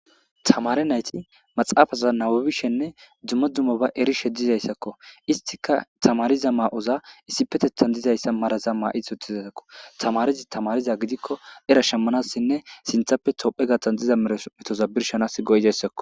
Tamare nayti maxaafaza nawubishenne dzumma dumma ba erishe dizayssakko istika tamariza maa'oza issipetethan dizayssa maraza maa'ith uttizasako tamarizi tamariza gidikko era shemmanassinne sinthappe tophe gattan diza metozabirshanas goyidayssakko.